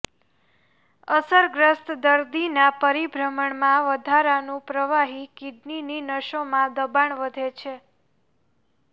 અસરગ્રસ્ત દર્દીના પરિભ્રમણમાં વધારાનું પ્રવાહી કિડનીની નસોમાં દબાણ વધે છે